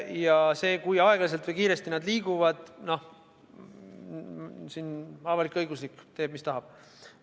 Ja see, kui aeglaselt või kiiresti nad liiguvad – siin teeb avalik-õiguslik ERR nii, nagu ise tahab.